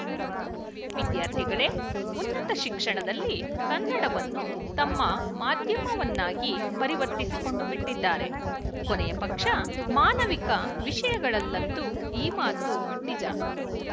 ವಿದ್ಯಾರ್ಥಿಗಳೇ ಉನ್ನತ ಶಿಕ್ಷಣದಲ್ಲಿ ಕನ್ನಡವನ್ನು ತಮ್ಮ ಮಾಧ್ಯಮವನ್ನಾಗಿ ಪರಿವರ್ತಿಸಿಕೊಂಡುಬಿಟ್ಟಿದ್ದಾರೆ ಕೊನೆಯ ಪಕ್ಷ ಮಾನವಿಕ ವಿಶಯಗಳಲ್ಲಂತೂ ಈ ಮಾತು ನಿಜ